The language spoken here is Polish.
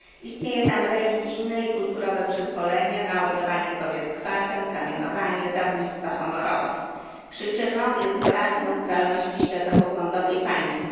Istnieje tam religijne i kulturowe przyzwolenie na oblewanie kobiet kwasem, kamienowanie, zabójstwa honorowe. Przyczyną jest brak neutralności światopoglądowej państw.